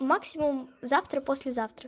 максимум завтра послезавтра